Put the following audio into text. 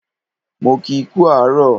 Mo kii kú àárọ̀